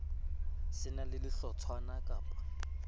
se na le sehlotshwana kappa